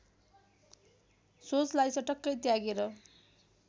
सोचलाई चटक्कै त्यागेर